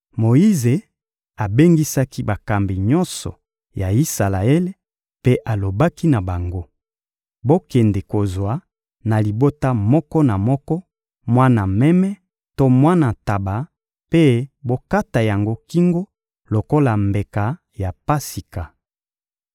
Moyize abengisaki bakambi nyonso ya Isalaele mpe alobaki na bango: «Bokende kozwa na libota moko na moko mwana meme to mwana ntaba mpe bokata yango kingo lokola mbeka ya Pasika.